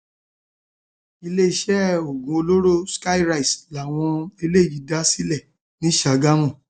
iléeṣẹ iléeṣẹ oògùn olóró skyries làwọn eléyìí dá sílẹ ní sàgámù